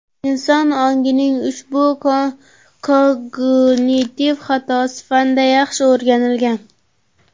Inson ongining ushbu kognitiv xatosi fanda yaxshi o‘rganilgan.